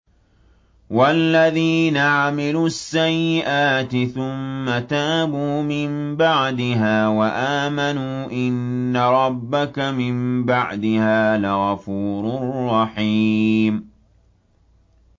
وَالَّذِينَ عَمِلُوا السَّيِّئَاتِ ثُمَّ تَابُوا مِن بَعْدِهَا وَآمَنُوا إِنَّ رَبَّكَ مِن بَعْدِهَا لَغَفُورٌ رَّحِيمٌ